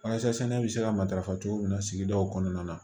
Walasa sɛnɛ bɛ se ka matarafa cogo min na sigidaw kɔnɔna na